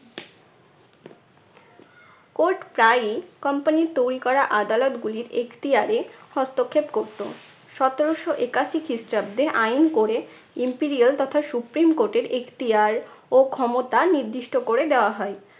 court প্রায়ই company র তৈরি করা আদালতগুলির এখতিয়ারে হস্তক্ষেপ করতো। সতেরশো একাশি খ্রিস্টাব্দে আইন করে imperial তথা supreme court এর এখতিয়ার ও ক্ষমতা নির্দিষ্ট করে দেওয়া হয়।